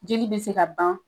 Jeli be se ka ban